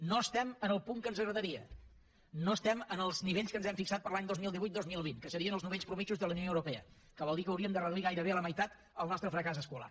no estem en el punt que ens agradaria no estem en els nivells que ens hem fixat per als anys dos mil divuit dos mil vint que serien els nivells mitjans de la unió europea que vol dir que hauríem de reduir gairebé a la meitat el nostre fracàs escolar